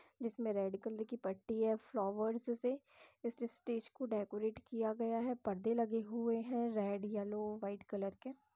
जिसमें red colour की पट्टी है। फ्लॉवर्स से इस स्टेज को डेकोरेट किया गया है। पर्दे लगे हुए हैं रेड येल्लो व्हाइट कलर के।